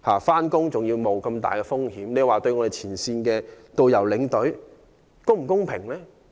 冒着如此巨大的風險上班，對前線的導遊、領隊是否公平？